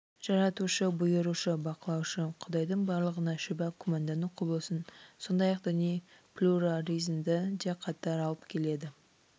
жаратушы бұйырушы бақылаушы құдайдың барлығына шүбә күмәндану құбылысын сондай-ақ діни плюрализмді де қатар алып келеді